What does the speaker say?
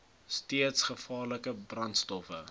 steeds gevaarlike brandstowwe